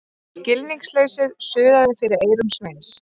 Skilningsleysið suðaði fyrir eyrum Sveins.